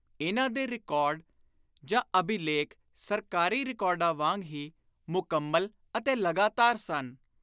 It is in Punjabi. ਇਨ੍ਹਾਂ ਦੇ ਰਿਕਾਰਡ ਜਾਂ ਅਭਿਲੇਖ ਸਰਕਾਰੀ ਰਿਕਾਰਡਾਂ ਵਾਂਗ ਹੀ ਮੁਕੰਮਲ ਅਤੇ ਲਗਾਤਾਰ ਸਨ।